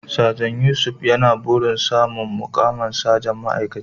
Sajan Yusuf yana burin samun muƙamin sajan ma'aikaci.